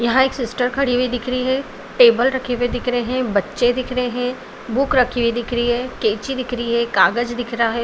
यहाँ एक सिस्टर खड़ी हुई दिख रही है टेबल रखे हुए दिख रहे है बच्चे दिख रहे है बुक रखी हुई दिख रही है कैची दिख रही है कागज़ दिख रहा है।